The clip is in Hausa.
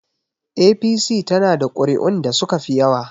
APC is having the highest vote